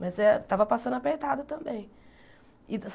Mas eh tava passando apertado também.